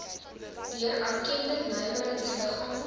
deur erkende nywerheidsliggame